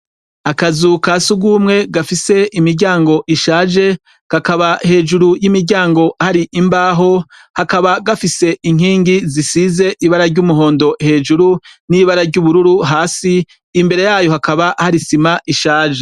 Akazu ka sugwumwe gafise imiryango ishaje, kakaba hejuru y'imiryango hari imbaho, kakaba gafise inkingi zisize ibara ry'umuhondo hejuru n'ibara ry'ubururu hasi, imbere yayo hakaba hari isima ishaje.